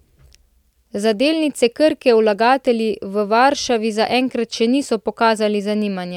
Za delnice Krke vlagatelji v Varšavi zaenkrat še niso pokazali zanimanja.